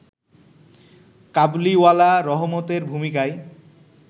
কাবুলিওয়ালা রহমতের ভূমিকায়